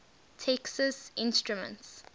texas instruments